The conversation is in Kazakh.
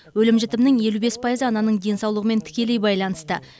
өлім жітімнің елу бес пайызы ананың денсаулығымен тікелей байланысты